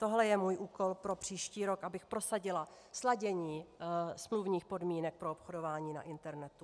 Tohle je můj úkol pro příští rok, abych prosadila sladění smluvních podmínek pro obchodování na internetu.